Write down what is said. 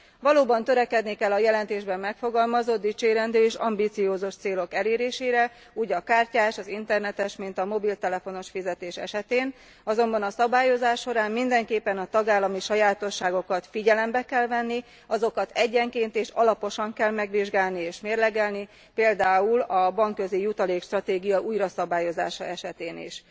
Valóban törekedni kell a jelentésben megfogalmazott dicsérendő és ambiciózus célok elérésére, úgy a kártyás, az internetes, mint a mobiltelefonos fizetés esetén, azonban a szabályozás során mindenképpen a tagállami sajátosságokat figyelembe kell venni. Azokat egyenként és alaposan kell megvizsgálni és mérlegelni, például a bankközijutalék stratégia újraszabályozása esetén is.